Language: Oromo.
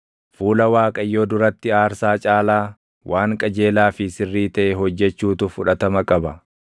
Fuula Waaqayyoo duratti aarsaa caalaa, waan qajeelaa fi sirrii taʼe hojjechuutu fudhatama qaba.